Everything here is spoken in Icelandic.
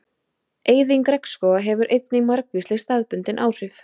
Eyðing regnskóga hefur einnig margvísleg staðbundin áhrif.